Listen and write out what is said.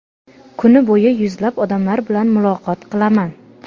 Kuni bo‘yi yuzlab odamlar bilan muloqot qilaman.